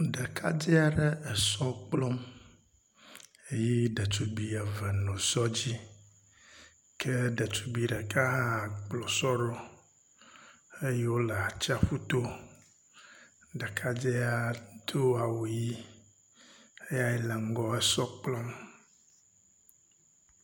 Ɖekadze aɖe esɔ kplɔm eye ɖetugbi eve no sɔ dzi ke ɖetugbi ɖeka hã kplo sɔ ɖo eye wo le atsaƒu to. Ɖekadze ya to awu ʋi eyae le ŋgɔ esɔ kplɔm.